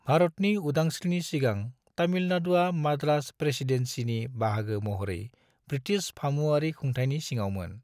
भारतनि उदांस्रिनि सिगां तामिलनाडुआ मद्रास प्रेसीडेन्सिनि बाहागो महरै ब्रिटिश फामुवारि खुंथाइनि सिङावमोन।